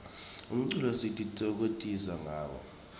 umculo sititfokokotisa ngawo